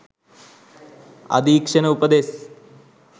අධීක්ෂණ උපදෙස්